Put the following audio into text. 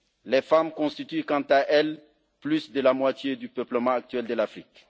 Les femmes constituent, quant à elles, plus de la moitié du peuplement actuel de l'Afrique.